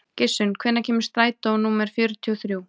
Gissunn, hvenær kemur strætó númer fjörutíu og þrjú?